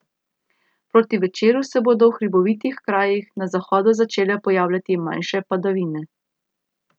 Proti večeru se bodo v hribovitih krajih na zahodu začele pojavljati manjše padavine.